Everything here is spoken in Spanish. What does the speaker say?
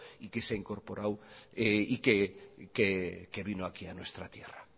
y que se ha incorporado y que vino aquí a nuestra tierra